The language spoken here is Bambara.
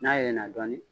N'a yɛlɛnna dɔɔnin